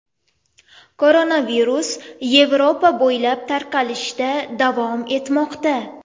Koronavirus Yevropa bo‘ylab tarqalishda davom etmoqda .